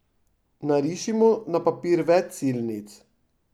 Narišimo na papir več silnic!